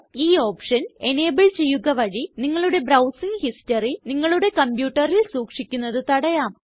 ഈ ഓപ്ഷന് എനബിൾ ചെയ്യുക വഴി നിങ്ങളുടെ ബ്രൌസിംഗ് ഹിസ്റ്ററി നിങ്ങളുടെ കംപ്യൂട്ടറിൽ സൂക്ഷിക്കുന്നത് തടയാം